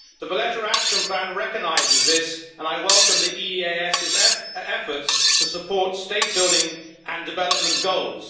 The Valletta Action Plan recognises this and I welcome the EEAS's efforts to support state-building and development goals.